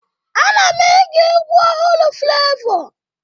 A na m ege egwu ọhụrụ flevọ.